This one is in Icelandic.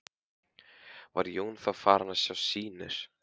Var Jón þá farinn að sjá sýnir.